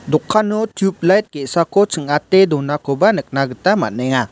dokano tuplaid ge·sako ching·ate donakoba nikna gita man·enga.